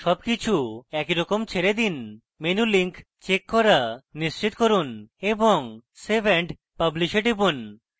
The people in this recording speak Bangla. সবকিছু একইরকম ছেড়ে দিন menu link checked করা নিশ্চিত করুন এবং save and publish এ টিপুন